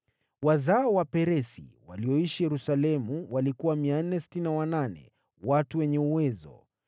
Wazao wa Peresi walioishi Yerusalemu walikuwa 468, watu wenye uwezo.